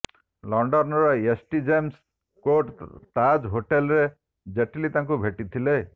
ଲଣ୍ଡନର ST James Court Taj ହୋଟେଲରେ ଜେଟଲୀ ତାଙ୍କୁ ଭେଟିଥିଲେ